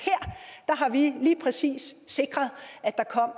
at her har vi lige præcis sikret at der kom